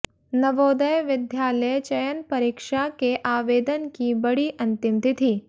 नवोदय विद्यालय चयन परीक्षा के आवेदन की बढ़ी अंतिम तिथि